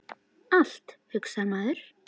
Allt, hugsar maður.